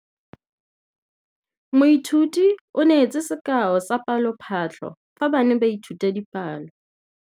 Moithuti o neetse sekaô sa palophatlo fa ba ne ba ithuta dipalo.